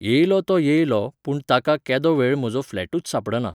येयलो तो येयलो पूण ताका केदो वेळ म्हजो फ्लॅटूच सांपडना.